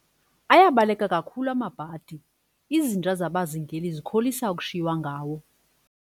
Ayabaleka kakhulu amabhadi, izinja zabazingeli zikholisa ukushiywa ngawo.